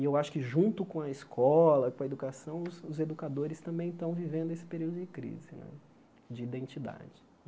E eu acho que junto com a escola, com a educação, os os educadores também estão vivendo esse período de crise né de identidade.